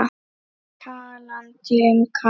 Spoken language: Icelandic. Talandi um kast.